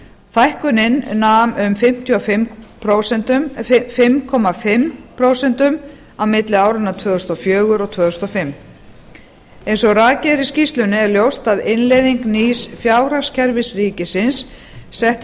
hækkunin nam um fimm og hálft prósent á milli áranna tvö þúsund og fjögur og tvö þúsund og fimm eins og rakið er í skýrslunni er ljóst að innleiðing nýs fjárhagskerfis ríkisins setti